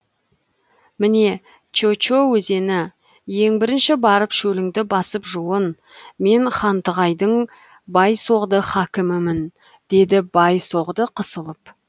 міне чече өзені ең бірінші барып шөліңді басып жуын мен хантығайдың бай соғды хакімімін деді бай соғды қысылып